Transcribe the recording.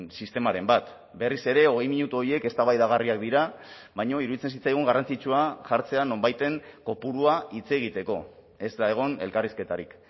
sistemaren bat berriz ere hogei minutu horiek eztabaidagarriak dira baina iruditzen zitzaigun garrantzitsua jartzea nonbaiten kopurua hitz egiteko ez da egon elkarrizketarik